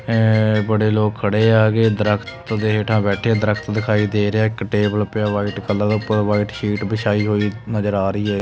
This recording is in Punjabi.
ਏਹ ਬੜੇ ਲੋਕ ਖੜੇ ਆ ਆਗੇ ਦ੍ਰਖਤ ਦੇ ਹੈੱਠਾ ਬੈਠੇ ਦ੍ਰਖਤ ਦਿਖਾਈ ਦੇ ਰਿਹਾ ਹੈ ਇੱਕ ਟੇਬਲ ਪਿਆ ਵ੍ਹਾਈਟ ਕਲਰ ਦਾ ਉਪਰ ਵ੍ਹਾਈਟ ਸ਼ੀਟ ਬਿਛਾਇ ਹੋਈ ਨਜ਼ਰ ਆ ਰਹੀ ਹੈ।